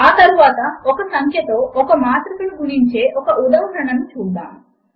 ఆ తరువాత ఒక సంఖ్యతో ఒక మాత్రికను గుణించే ఒక ఉదాహరణను చూద్దాము